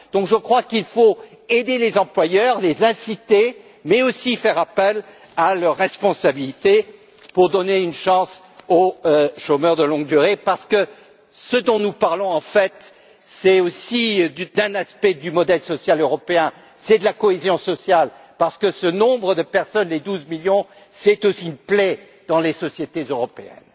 Je crois donc qu'il faut aider les employeurs, les inciter, mais aussi faire appel à leur responsabilité pour donner une chance aux chômeurs de longue durée, parce que ce dont nous parlons en fait, c'est aussi d'un aspect du modèle social européen, c'est de la cohésion sociale, parce que ce nombre de personnes douze millions représente une plaie dans les sociétés européennes.